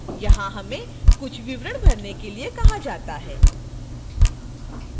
यहां हमें कुछ विवरण भरने के लिए कहा जाता है